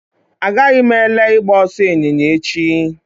Agaghị m ele ịgba ọsọ ịnyịnya echi